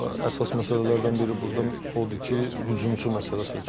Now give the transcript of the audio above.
əsas məsələlərdən biri burdan odur ki, hücumçu məsələsidir.